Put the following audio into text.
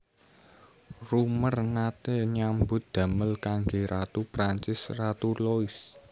Roemer naté nyambut damel kanggé Ratu Prancis Ratu Louis